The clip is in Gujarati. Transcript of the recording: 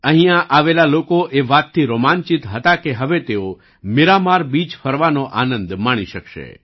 અહીંયા આવેલા લોકો એ વાતથી રોમાંચિત હતા કે હવે તેઓ મીરામાર બીચ ફરવાનો આનંદ માણી શકશે